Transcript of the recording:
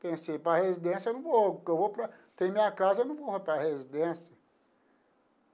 Pensei, para residência eu não vou, que eu vou para... Tem minha casa, eu não vou para residência.